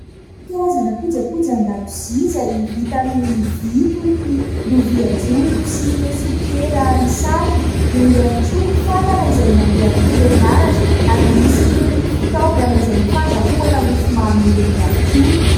Karazana kojakojan-dakozia izay vita amin'ny vỳ, toy ny : lovia jobo sy ireo sopiera misarona. Eo ihany koa ny fatana izay mandeha amin'ny herinaratra, ary misy ireny fitaovana izay fandrahoana mofomamy ireny ihany koa.